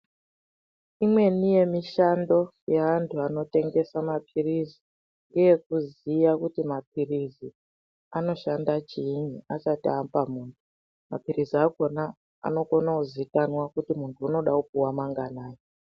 Imweni yemishando yeantu anotengesa maphirizi ngeyekuziya kuti maphirizi anoshanda chiinyi asati apa muntu. Maphilizi akona anokona kuzikana kuti muntu unoda kupuwa manganai.